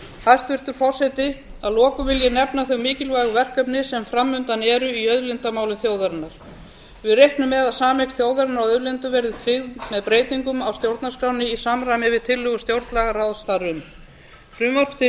hæstvirtur forseti að lokum vil ég nefna þau mikilvægu verkefni sem fram undan eru í auðlindamálum þjóðarinnar við reiknum með að sameign þjóðarinnar á auðlindum verði tryggð með breytingum á stjórnarskránni í samræmi við tillögu stjórnlagaráðs þar um frumvarp til